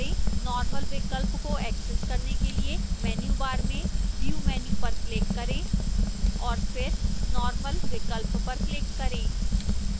normal विकल्प को access करने के लिए menu bar में view menu पर click करें और फिर normal विकल्प पर click करें